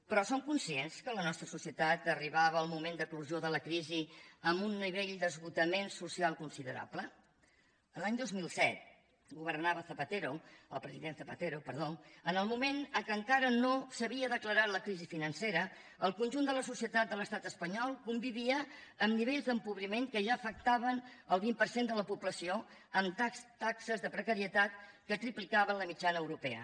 però som conscients que a la nostra societat arribava el moment d’eclosió de la crisi amb un nivell d’esgotament social considerable l’any dos mil set governava zapatero el president zapatero perdó en el moment en què encara no s’havia declarat la crisi financera el conjunt de la societat de l’estat espanyol convivia amb nivells d’empobriment que ja afectaven el vint per cent de la població amb taxes de precarietat que triplicaven la mitjana europea